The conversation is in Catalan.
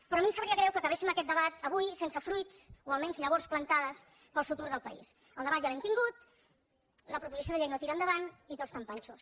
però a mi em sabria greu que acabéssim aquest debat avui sense fruits o almenys llavors plantades per al futur del país el debat ja l’hem tingut la proposició de llei no tira endavant i tots tan panxos